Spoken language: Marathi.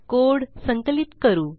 कोड संकलित करू